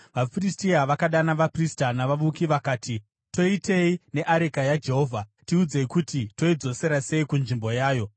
vaFiristia vakadana vaprista navavuki vakati, “Toitei neareka yaJehovha? Tiudzei kuti toidzosera sei kunzvimbo yayo.”